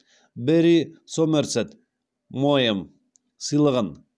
берри сомерсет моэм сыйлығын